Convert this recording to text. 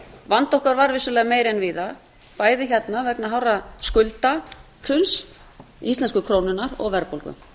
vandi okkar var vissulega meiri en víða bæði hérna vegna hás skuldahruns íslensku krónunnar og verðbólgu